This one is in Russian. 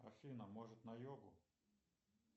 афина может на йогу